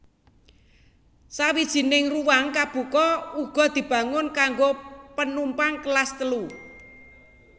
Sawijining ruwang kabuka uga dibangun kanggo penumpang Kelas Telu